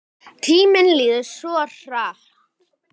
Tíminn líður svo hratt.